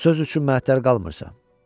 Söz üçün məəttəl qalmırsan.